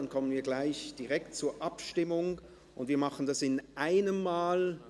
Dann kommen wir direkt zur Abstimmung, und wir machen diese in einem Mal.